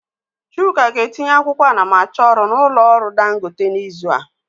Chuk ga-etinye akwụkwọ anamachọrụ n'ụlọ ọrụ Dangote n'izu ụka a.